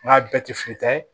N ka bɛɛ tɛ fili ye